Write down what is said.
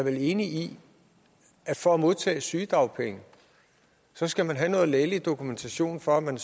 vel enig i at for at modtage sygedagpenge skal man have noget lægelig dokumentation for at man